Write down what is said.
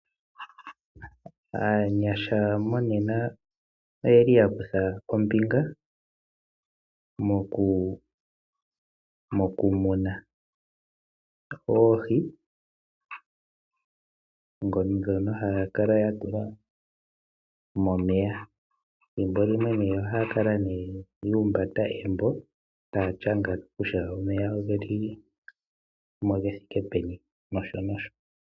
Aanyasha monena oya kutha ombinga mokumuna oohi ndhono haya kala ya tula momeya. Ethimbo limwe ohaa kala ye na omambo taya ndhindhilike ondjele yomeya ngoka ge li muundama.